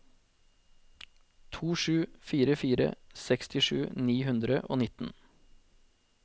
to sju fire fire sekstisju ni hundre og nitten